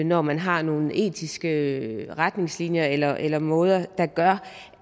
når man har nogle etiske retningslinjer eller eller måder der gør